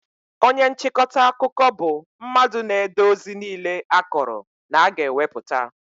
Onye nchịkọta akụkọ bụ mmadụ na-ede ozi niile a kọrọ na a ga-ewepụta